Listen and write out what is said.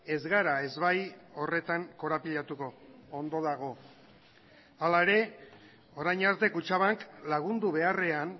ez gara ezbai horretan korapilatuko ondo dago hala ere orain arte kutxabank lagundu beharrean